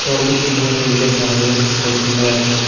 তলটো ধুনীয়া সেউজীয়া ঘাঁহেৰে ভৰ্তি হৈ আছে।